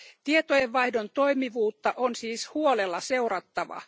Tietojenvaihdon toimivuutta on siis huolella seurattava.